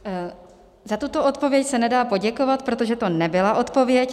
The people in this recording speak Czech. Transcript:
Za tuto odpověď se nedá poděkovat, protože to nebyla odpověď.